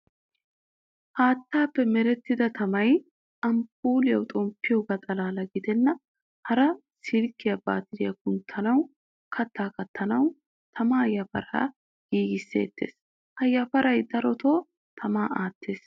Haattappe merettida tamaay amppuliyawu xomppiyogaa xalaala giddenan hara silkiyaasi baatiraa kunttanawu, katta kaattanawu tamaa yafaara giigisettees. Ha yafaaray darotto tamaa attees.